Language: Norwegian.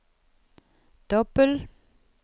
dobbel